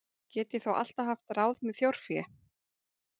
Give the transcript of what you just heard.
Get ég þó alltaf haft ráð með þjórfé.